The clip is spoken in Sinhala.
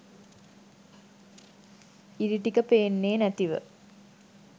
ඉරි ටික පේන්නෙ නැතිව